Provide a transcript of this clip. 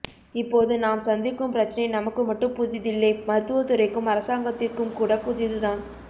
இப்போது நாம் சந்திக்கும் பிரச்னை நமக்கு மட்டும் புதிதில்லை மருத்துவத்துறைக்கும் அரசாங்கத்திற்கும் கூட புதிதுதான்